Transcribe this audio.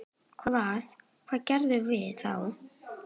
Hvað, hvað gerum við þá?